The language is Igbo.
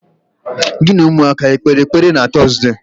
Gị na ụmụaka ekpeere ekpere na Tọzde?